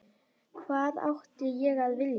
Hvað átti ég að vilja?